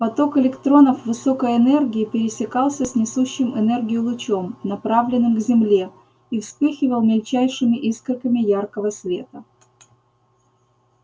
поток электронов высокой энергии пересекался с несущим энергию лучом направленным к земле и вспыхивал мельчайшими искорками яркого света